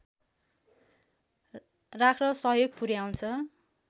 राख्न सहयोग पुर्‍याउँछ